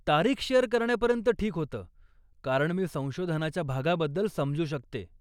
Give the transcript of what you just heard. तारीख शेअर करण्यापर्यंत ठीक होतं, कारण मी संशोधनाच्या भागाबद्दल समजू शकते.